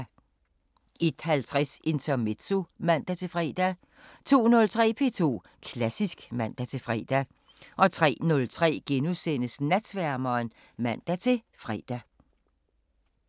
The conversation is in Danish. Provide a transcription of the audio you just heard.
01:50: Intermezzo (man-fre) 02:03: P2 Klassisk (man-fre) 03:03: Natsværmeren *(man-fre)